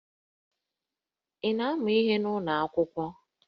Ị na-amụ ihe n'ụlọ akwụkwọ?